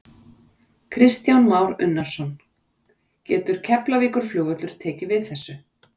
Kristján Már Unnarsson: Getur Keflavíkurflugvöllur tekið við þessu?